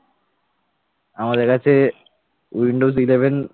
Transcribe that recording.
আমাদের কাছে windows eleven